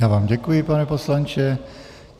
Já vám děkuji, pane poslanče.